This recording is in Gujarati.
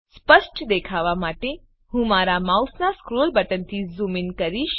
સ્પષ્ટ દેખાવ માટે હું મારા માઉસનાં સ્ક્રોલ બટનથી ઝૂમ ઇન કરીશ